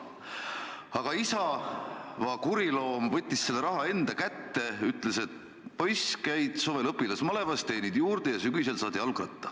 Aga isa, va kuriloom, võttis selle raha enda kätte, ütles, et poiss, käid suvel õpilasmalevas, teenid juurde ja sügisel saad jalgratta.